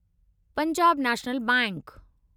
Punjab National bank